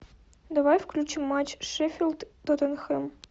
давай включим матч шеффилд тоттенхэм